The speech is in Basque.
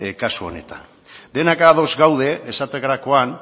kasu honetan denak ados gaude esaterakoan